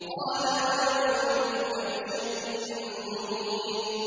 قَالَ أَوَلَوْ جِئْتُكَ بِشَيْءٍ مُّبِينٍ